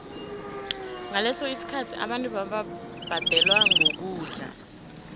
ngaleso sikhathi abantu bebabhadelwa ngokudla